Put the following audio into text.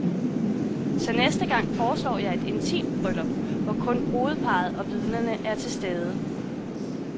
Så næste gang foreslår jeg et intimt bryllup, hvor kun brudeparret og vidnerne er til stede.